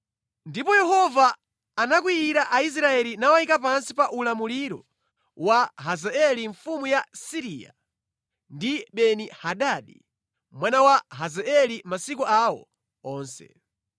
Ndipo Yehova anakwiyira Aisraeli nawayika pansi pa ulamuliro wa Hazaeli mfumu ya Siriya ndi Beni-Hadadi mwana wa Hazaeli masiku awo onse.